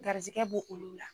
Garisigɛ be olu la